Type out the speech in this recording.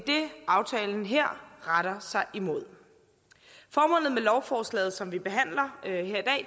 aftalen her retter sig imod formålet med lovforslaget som vi behandler